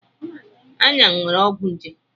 Ayan nwere ọgwụ nje.